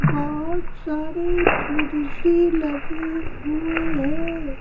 बहुत सारे कुर्सी लगे हुए हैं।